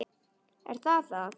Er það það?